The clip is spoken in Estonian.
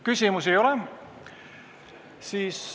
Küsimusi ei ole.